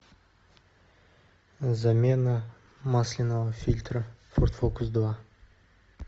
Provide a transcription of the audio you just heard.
замена масляного фильтра форд фокус два